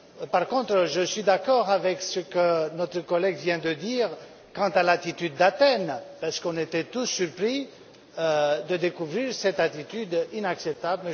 Par contre, je suis d'accord avec ce que notre collègue vient de dire quant à l'attitude d'Athènes, parce que nous étions tous surpris de découvrir cette attitude inacceptable.